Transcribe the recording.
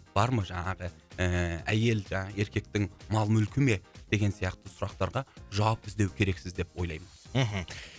бар ма жаңағы ііі әйел жаңағы еркектің мал мүлкі ме деген сияқты сұрақтарға жауап іздеу керексіз деп ойлаймын мхм